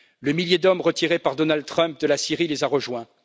Le millier d'hommes retiré par Donald Trump de la Syrie les a rejoints.